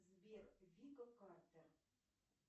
сбер вика картер